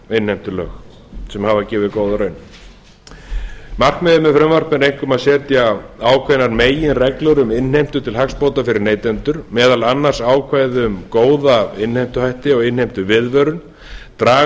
innheimtulög sem hafa gefið góða raun markmiðið með frumvarpinu er einkum að setja ákveðnar meginreglur um innheimtu til hagsbóta fyrir neytendur meðal annars ákvæði um góða innheimtuhætti og innheimtuviðvörun og draga